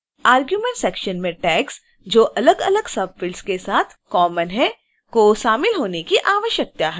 arguments section में tags जो अलगअलग subfields के साथ कॉमन हैं को शामिल होने की आवश्यकता है